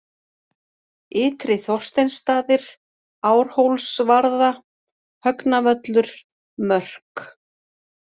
Ytri-Þorsteinsstaðir, Árhólsvarða, Högnavöllur, Mörk